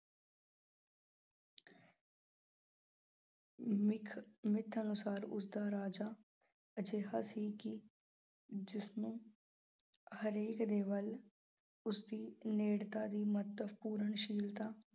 myth myth ਅਨੁਸਾਰ ਉਸਦਾ ਰਾਜਾ, ਅਜਿਹਾ ਸੀ ਕਿ ਜਿਸ ਨੂੰ ਹਰੇਕ ਦੇ ਵੱਲ ਉਸ ਦੀ ਨੇੜਤਾ ਦੀ ਮਹੱਤਵਪੂਰਨਸ਼ੀਲਤਾ।